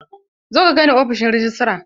Zo ka kaini ofishin rejistra!